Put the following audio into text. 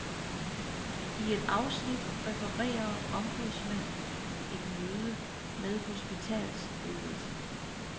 I et afsnit refererer ombudsmanden et møde med hospitalsledelsen.